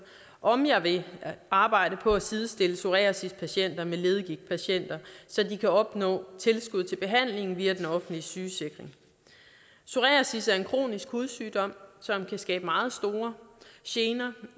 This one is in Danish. om jeg vil arbejde på at sidestille psoriasispatienter med leddegigtpatienter så de kan opnå tilskud til behandling via den offentlige sygesikring psoriasis er en kronisk hudsygdom som kan skabe meget store gener